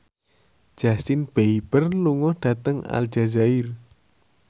Justin Beiber lunga dhateng Aljazair